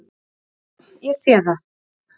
"""Já, já. ég sé það."""